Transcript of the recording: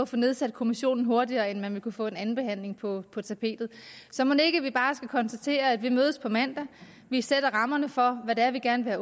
få nedsat kommissionen hurtigere end man vil kunne få en andenbehandling på på tapetet så mon ikke vi bare skal konstatere at vi mødes på mandag vi sætter rammerne for hvad det er vi gerne vil